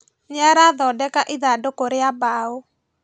Nĩarathondeka ithandũkũ rĩa mbaũ